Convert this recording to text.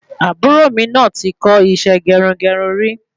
Àbúrò mi náà ti kọ isẹ́ gerungerun rí